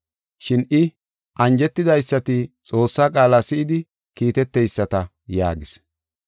Shin I, “Anjetidaysati Xoossaa qaala si7idi kiiteteyisata” yaagis.